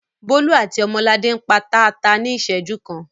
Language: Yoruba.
Bólú àti Ọmọladé ń pa taata kan ní ìṣẹ́jú kan.